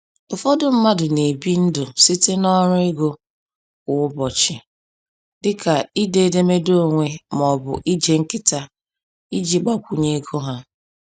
Ụfọdụ mmadụ na-ebi ndụ site n’ọrụ ego kwa ụbọchị dịka ide edemede onwe ma ọ bụ ije nkịta iji gbakwunye ego ha.